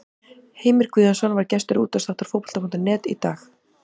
Heimir Guðjónsson var gestur útvarpsþáttar Fótbolta.net í dag.